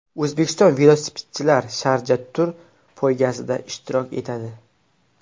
O‘zbekistonlik velosipedchilar Sharja Tour poygasida ishtirok etadi.